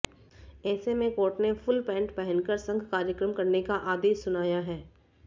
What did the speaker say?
ऐसे में कोर्ट ने फूल पैंट पहनकर संघ कार्यक्रम करने का आदेश सुनाया है